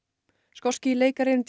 skoski leikarinn